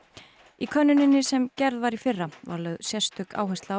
í könnuninni sem gerð var í fyrra var lögð sérstök áhersla á